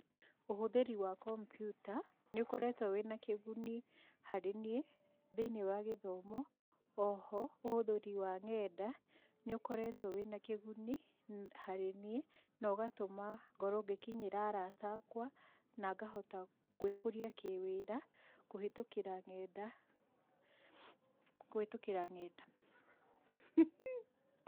Ũhũthĩri wa kompyuta nĩ ũkoretwo wĩna kĩguni harĩ niĩ, thĩiniĩ wa gĩthomo. O ho ũhũthĩri wa nenda nĩ ũkoretwo wĩna kĩguni harĩ niĩ, no ũgatũma ngorũo ngĩkinyĩra arata akwa, na ngahota gwĩ kũria kĩ wĩra kũhĩtũkĩra nenda kũhĩtũkĩra nenda.